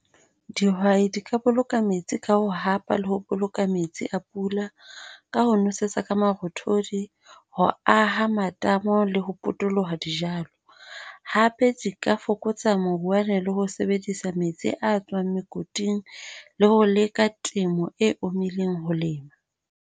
Dihwai di ka boloka metsi ka ho hapa le ho boloka metsi a pula. Ka ho nwesetsa ka marothodi, ho aha matamo le ho potoloha dijalo. Hape di ka fokotsa maroeane le ho sebedisa metsi a tswang mokoting le ho leka temo e ho lema.